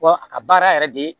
Wa a ka baara yɛrɛ de